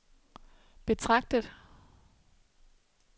betragtet